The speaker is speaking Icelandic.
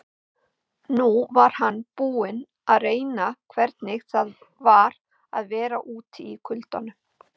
Nú var hann búinn að reyna hvernig það var að vera úti í kuldanum.